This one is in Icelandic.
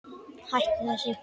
Hættu þessu!